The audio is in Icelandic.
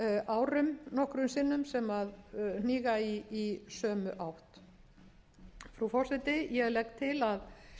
árum nokkrum sinnum sem hníga í sömu átt frú forseti ég legg til að við lok þessarar